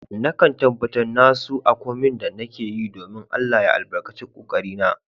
Na kan tabatar na nasu a komin da nake yi, dominn Allah ya albarkace ƙoƙari na